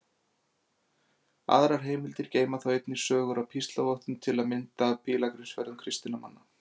Aðrar heimildir geyma þó einnig sögur af píslarvottum, til að mynda af pílagrímsferðum kristinna manna.